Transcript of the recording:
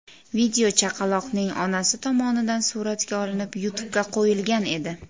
Video chaqaloqning onasi tomonidan suratga olinib, YouTube’ga qo‘yilgan edi.